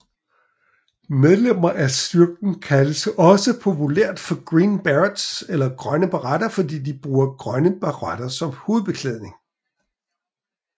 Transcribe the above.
Medlemmer af styrken kaldes også populært for Green Berets eller Grønne Baretter fordi de bruger grønne baretter som hovedbeklædning